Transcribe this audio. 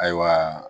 Ayiwa